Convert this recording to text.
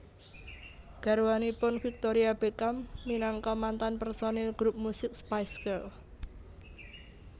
Garwanipun Victoria Beckham minangka mantan personil grup musik Spice Girls